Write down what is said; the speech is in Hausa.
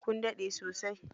Kun daɗe sosai?